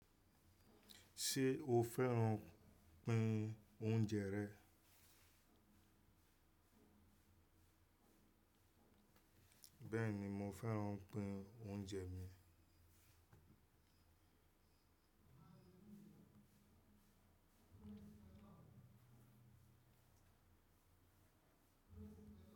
Ṣé o fẹ́ràn pín oúnjẹ rẹ̀? Bẹ́ẹ̀ ni mo fẹ́ràn pín oúnjẹ mi.